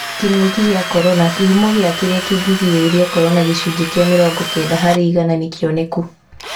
Kĩng'uki gĩa korona, kĩhumo ya kĩrĩa kĩngĩgĩrĩria korona gĩcunjĩ kĩa mĩrongo Kenda harĩ igana nĩkĩoneku